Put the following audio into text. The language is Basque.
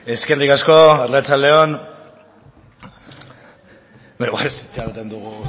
eskerrik asko arratsalde on beno itxaroten dugu